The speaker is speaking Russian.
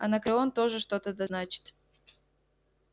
анакреон тоже что-то да значит